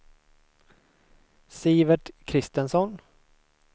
Sivert Christensson